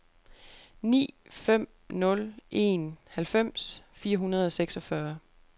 ni fem nul en halvfems fire hundrede og seksogfyrre